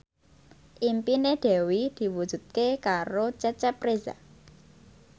impine Dewi diwujudke karo Cecep Reza